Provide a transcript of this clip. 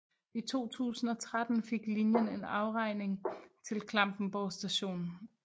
I 2013 fik linjen en afgrening til Klampenborg st